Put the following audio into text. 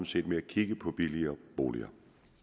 set med at kigge på billigere boliger